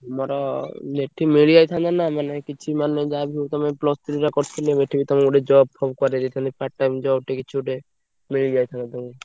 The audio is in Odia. ଆମର ଏଠି ମିଳିଯାଇଥାନ୍ତା ନା ମାନେ କିଛି ମାନେ ଯାହା ବି ହଉ ତମେ plus three ଟା କରିଥିଲେବେ ଏଠି ତମୁକୁ ଗୋଟେ job ଫବ କରେଇଦେଇଥାନ୍ତି part time job ଟେ କିଛି ଗୋଟେ ମିଳି ଯାଇଥାନ୍ତା ତମୁକୁ।